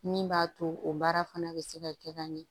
Min b'a to o baara fana bɛ se ka kɛ ka ɲɛ